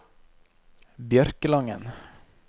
Bjørkelangen